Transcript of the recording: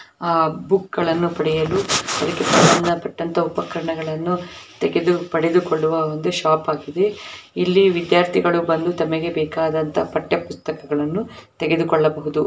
ಆ ಬುಕ್ ಗಳನ್ನು ಪಡೆಯಲು ಅದಕ್ಕೆ ಸಮಂದಪಟ್ಟಂತ ಉಪಕರಣಗಳನ್ನು ತೆಗೆದು ಪಡೆದುಕೊಳ್ಳುವ ಒಂದು ಶಾಪ್ ಆಗಿದೆ ಇಲ್ಲಿ ವಿದ್ಯಾರ್ಥಿಗಳು ಬಂದು ತಮಗೆ ಬೇಕಾದಂತ ಪಠ್ಯ ಪುಸ್ತಕಗಳನ್ನುತೆಗೆದುಕೊಳ್ಳಬಹುದು.